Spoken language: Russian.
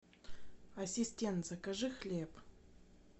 ассистент закажи хлеб